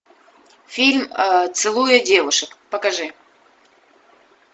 фильм целуя девушек покажи